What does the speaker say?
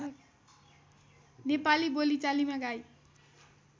नेपाली बोलिचालीमा गाई